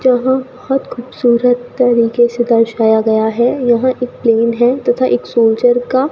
यहां बहुत खूबसूरत तरीके से दर्शाया गया है यहां एक प्लेन है तथा एक सोल्जर का --